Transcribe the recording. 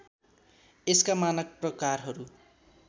यसका मानक प्रकारहरू